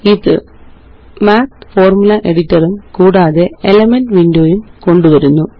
ഇത്Math formula editor ഉം കൂടാതെ elements window യും കൊണ്ടുവരുന്നു